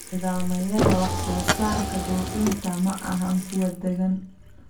Nidaamyada wax-soo-saarka dhoofinta ma ahan kuwo deggan.